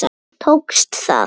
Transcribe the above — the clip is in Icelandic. Tókst það?